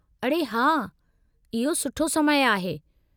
अड़े हा, इहो सुठो समय आहे।